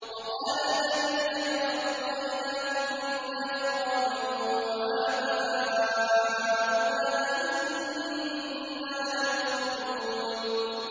وَقَالَ الَّذِينَ كَفَرُوا أَإِذَا كُنَّا تُرَابًا وَآبَاؤُنَا أَئِنَّا لَمُخْرَجُونَ